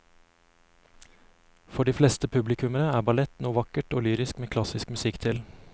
For de fleste publikummere er ballett noe vakkert og lyrisk med klassisk musikk til.